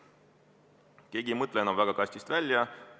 Keegi ei mõtle enam kastist väljapoole.